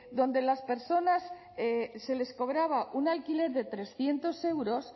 a las personas se les cobraba un alquiler de trescientos euros